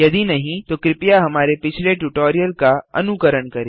यदि नहीं तो कृपया हमारे पिछले ट्यूटोरियल का अनुकरण करें